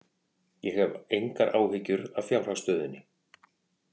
Ég hef engar áhyggjur af fjárhagsstöðunni.